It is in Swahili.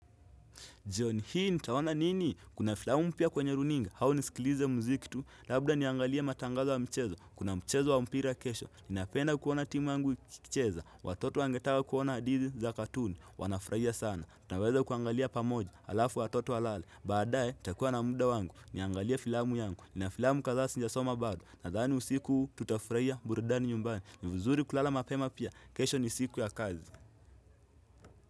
Jioni, hii nitaona nini? Kuna filamu mpya kwenye runinga, hau nisikilize muziki tu, labda niangalia matangazo wa mchezo, kuna mchezo wa mpira kesho, ninapenda kuona timu yangu ikicheza, watoto wangetata kuona hadithi za katuni, wanafraia sana, tunaweza kuangalia pamoja, alafu watoto walale, baadae, nitakua na muda wangu, niangalie filamu yangu, nina filamu kadhaa sijasoma bado, nadhani usiku tutafraia burudani nyumbani, ni vizuri kulala mapema pia, kesho ni siku ya kazi.